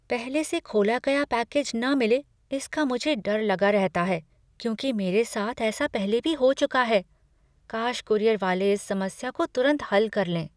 पहले से खोला गया पैकेज न मिले इसका मुझे डर लगा रहता है क्योंकि मेरे साथ ऐसा पहले भी हो चुका है, काश कूरियर वाले इस समस्या को तुरंत हल कर लें।